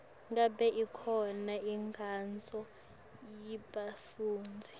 ngabe ikhona inkonzo yebafundzi